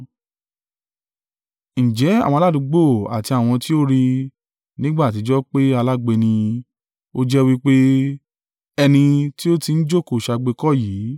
Ǹjẹ́ àwọn aládùúgbò àti àwọn tí ó rí i nígbà àtijọ́ pé alágbe ni ó jẹ́, wí pé, “Ẹni tí ó ti ń jókòó ṣagbe kọ́ yìí?”